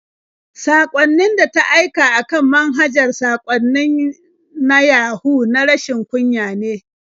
Saƙon da ta aika a kan manhajar saƙwannin na Yahu na rashin kunya ne.